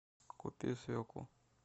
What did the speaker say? купи свеклу